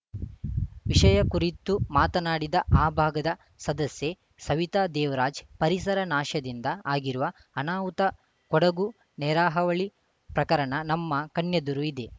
ವಿಷಯ ಕುರಿತು ಮಾತನಾಡಿದ ಆ ಭಾಗದ ಸದಸ್ಯೆ ಸವಿತಾ ದೇವರಾಜ್‌ ಪರಿಸರ ನಾಶದಿಂದ ಆಗಿರುವ ಅನಾಹುತ ಕೊಡಗು ನೆರೆಹಾವಳಿ ಪ್ರಕರಣ ನಮ್ಮ ಕಣ್ಣೆದುರು ಇದೆ